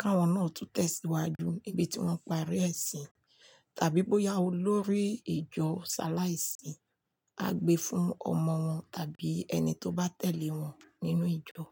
káwọn náà tún tẹ̀síwájú níbi tí wọ́n parí ẹ̀ sí. Tàbí bóyá olórí ìjọ sàláìsì á gbe fún ọmọ wọn tàbí ẹni tó bá tẹ̀lé wọn nínú ìjọ.